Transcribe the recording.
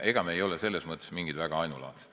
Ega me ei ole selles mõttes väga ainulaadsed.